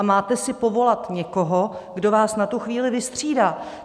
A máte si povolat někoho, kdo vás na tu chvíli vystřídá.